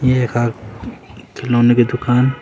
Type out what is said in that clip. ये यखा खिलोने की दूकान।